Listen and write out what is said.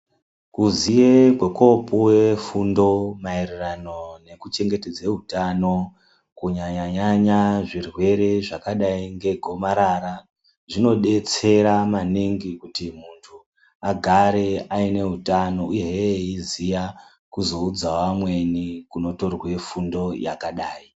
Kuziye kwekoopuwe fundo maererano nekuchengetedza utano kunyanyanya zvirwere zvakadayi ngegomarara zvinodetsera maningi kuti munhu agare ane utano uyehe eiziya kuzoudzawo amweni kwekutora fundo yakadayi.